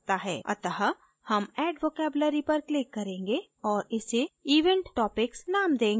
अत: हम add vocabulary पर click करेंगे और इसे event topics name देंगे